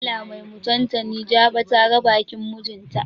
Allah mai mutantani jaɓa ta ga bakin mijin ta.